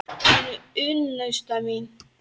Hún er unnusta mín!